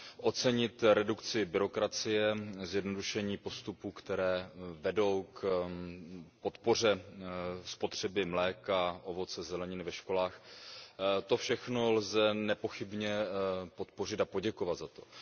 Ocenit redukci byrokracie, zjednodušení postupů, které vedou k podpoře spotřeby mléka, ovoce, zeleniny ve školách, to všechno lze nepochybně podpořit a poděkovat za to.